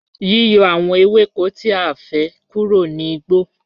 Yíyọ̀̀ àwọn èwẹ́kò tí àìfẹ́̀ kúrò ní ọigbọ̀